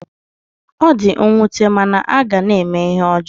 Ọ di nwute mana a ga na-eme ihe ọjọọ